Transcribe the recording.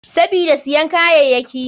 Sabida siyan kayayaki.